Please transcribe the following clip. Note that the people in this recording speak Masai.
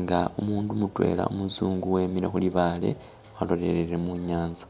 nga umundu mutwela umuzungu wemile khu libaale walolelele mu nyanza.